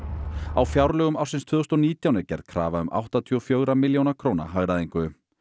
á fjárlögum ársins tvö þúsund og nítján er gerð krafa um áttatíu og fjögurra milljóna króna hagræðingu